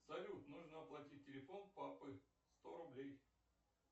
салют нужно оплатить телефон папы сто рублей